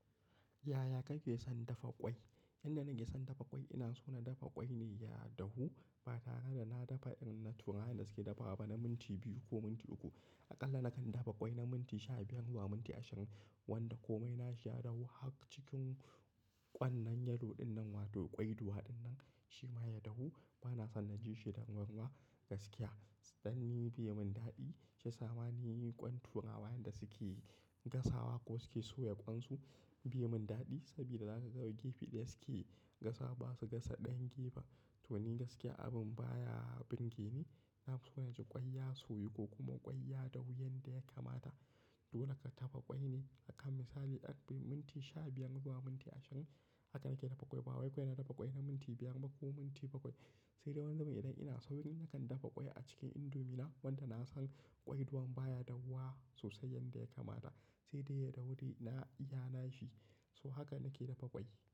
Yaya kake son dafa ƙwai? Yanda nake son dafa ƙwai ina so na dafa ƙwai ne ya dahu. Ba tare da na dafa irin na turawa yanda suke dafawa ba, na minti biyu ko minti uku. Aƙalla nakan dafa ƙwai na minti sha biyar zuwa minti ashirin wanda komai na shi dahu. Har cikin ƙwan nan yellow ɗin nan wato ƙwaiduwa ɗin nan shi ma ya dahu. Ba na son na ji shi da ruwaruwa gaskiya. Tsanni bai mun daɗi. Shiya sama ni ƙwan turawa yanda suke gasawa ko suke soya ƙwansu bai mun daɗi saboda zaka ga wai gefe ɗaya suke gasawa ba su gasa ɗayan gefen. To ni gaskiya abin baya burge ni. Nafiso na ji ƙwai ya soyu ko kuma ƙwai ya dahu yanda ya kamata. Dole ka dafa ƙwai haka misali ƙarfe minti sha biyar zuwa minti ashirin haka nake dafa ƙwai. Ba wai kawai na dafa ƙwai na minti biyar ba ko minti bakwai. Sai dai wani zaman idan ina sauyin nakan dafa ƙwai a cikin indomi na wanda na san ƙwaiɗuwan baya dahuwa sosai yanda ya kamata sai dai ya dauri na iya na shi. So haka nake dafa ƙwai.